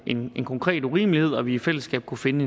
en konkret urimelighed og at vi i fællesskab kunne finde